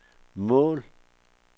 mål